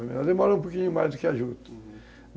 Ela demora um pouquinho mais do que a Juta, uhum.